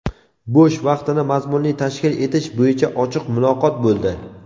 bo‘sh vaqtini mazmunli tashkil etish bo‘yicha ochiq muloqot bo‘ldi.